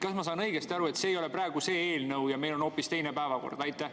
Kas ma saan õigesti aru, et see ei ole praegu see eelnõu ja meil on hoopis teine päevakord?